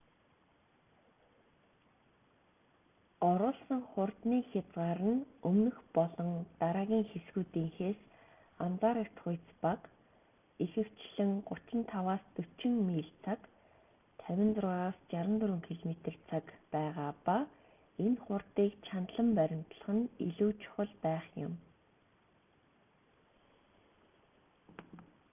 оруулсан хурдны хязгаар нь өмнөх болон дараагийн хэсгүүдийнхээс анзаарагдахуйц бага ихэвчлэн 35-40 миль/цаг 56-64 км/цаг байгаа ба энэ хурдыг чандлан баримтлах нь илүү чухал байх юм